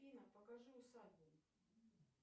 афина покажи усадьбу